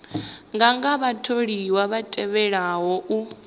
nganga vhatholiwa vha tevhelaho u